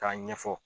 K'a ɲɛfɔ